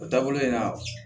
O taabolo in na